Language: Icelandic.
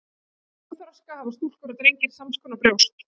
Fyrir kynþroska hafa stúlkur og drengir sams konar brjóst.